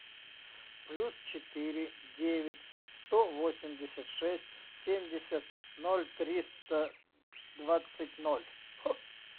плюс четыре девять сто восемьдесят шесть семьдесят ноль триста двадцать ноль